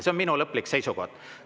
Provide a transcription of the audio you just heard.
See on minu lõplik seisukoht.